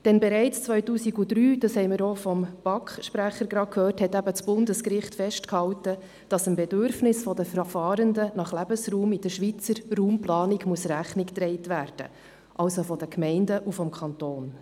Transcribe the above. Denn bereits 2003 – das haben wir soeben auch vom BaK-Sprecher gehört – hielt eben das Bundesgericht fest, dass dem Bedürfnis der Fahrenden nach Lebensraum in der Schweizer Raumplanung Rechnung getragen werden muss, also vonseiten der Gemeinden und vonseiten Kanton.